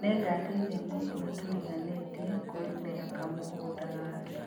Nĩngateithia mũndũ ũrĩa tũriganĩtie kũrĩmĩra kamũgũnda gake